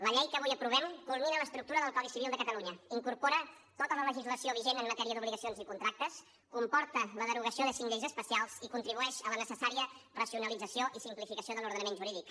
la llei que avui aprovem culmina l’estructura del codi civil de catalunya incorpora tota la legislació vigent en matèria d’obligacions i contractes comporta la derogació de cinc lleis especials i contribueix a la necessària racionalització i simplificació de l’ordenament jurídic